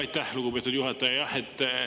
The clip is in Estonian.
Aitäh, lugupeetud juhataja!